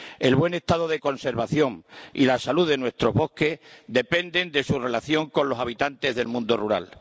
El buen estado de conservación y la salud de nuestros bosques dependen de su relación con los habitantes del mundo rural.